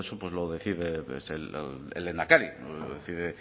todo eso lo decide el lehendakari lo decide